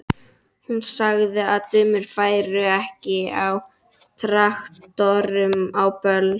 Hún sagði að dömur færu ekki á traktorum á böll.